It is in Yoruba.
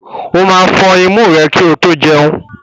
O máa fọn imú rẹ kí o tó jẹun.